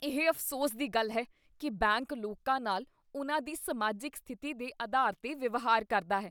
ਇਹ ਅਫ਼ਸੋਸ ਦੀ ਗੱਲ ਹੈ ਕੀ ਬੈਂਕ ਲੋਕਾਂ ਨਾਲ ਉਹਨਾਂ ਦੀ ਸਮਾਜਿਕ ਸਥਿਤੀ ਦੇ ਅਧਾਰ 'ਤੇ ਵਿਵਹਾਰ ਕਰਦਾ ਹੈ।